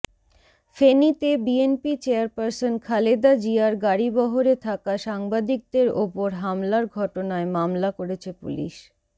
ফেনীতে BNP chairperson Khaleda জিয়ার গাড়িবহরে থাকা সাংবাদিকদের ওপর হামলার ঘটনায় মামলা করেছে পুলিশ